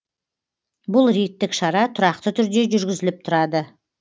бұл рейдтік шара тұрақты түрде жүргізіліп тұрады